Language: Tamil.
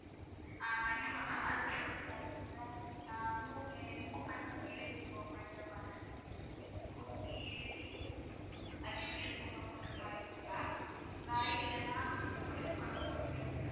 ஆஹ் கண்டிப்பா ma'am சரி இல்ல அஹ் move~ அஹ் movements ன்னு எழுதி இப்போ வைக்கிற மாதிரி இருக்கு wood லியே எழுதி இருக்கு ma'am வேற இல்லைன்னா குருவி படம் போட்டு வைக்கிறது